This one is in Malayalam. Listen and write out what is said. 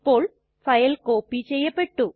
ഇപ്പോൾ ഫയൽ കോപ്പി ചെയ്യപ്പെട്ടു